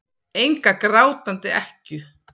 Enga grátandi ekkju.